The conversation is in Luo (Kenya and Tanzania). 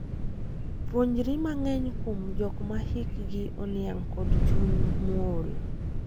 Puonjri mang'eny kuom jok ma hikgi oniang' kod chuny mool.